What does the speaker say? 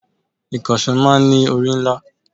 Ìkànsó máa ń ní orí ńlá